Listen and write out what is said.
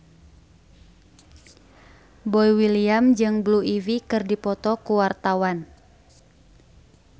Boy William jeung Blue Ivy keur dipoto ku wartawan